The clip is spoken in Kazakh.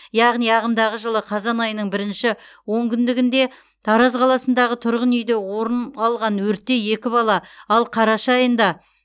яғни ағымдағы жылы қазан айының бірінші он күндігінде тараз қаласындағы тұрғын үйде орын алған өртте екі бала ал қараша айында